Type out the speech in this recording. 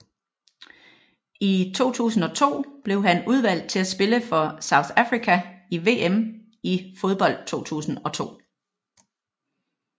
I 2002 blev han udvalgt til at spille for South Africa i VM i fodbold 2002